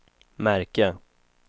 märke